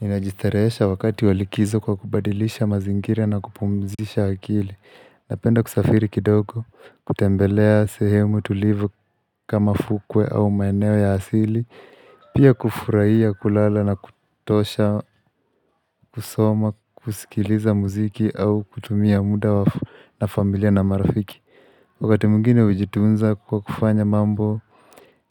Inajitareesha wakati walikizo kwa kubadilisha mazingira na kupumzisha akili Napenda kusafiri kidogo, kutembelea sehemu tulivu kama fukwe au maeneo ya asili Pia kufurahiya kulala na kutosha, kusoma, kusikiliza muziki au kutumia muda na familia na marafiki Wakati mwingine hujitunza kwa kufanya mambo,